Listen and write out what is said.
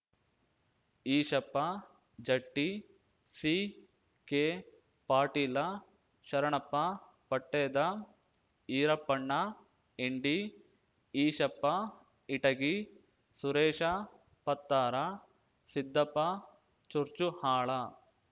Eshappa Jatti C K Patil Sharanappa Patteda Irappanna Indi Eshappa Itagi Suresh Pattar Siddappa Churchuhal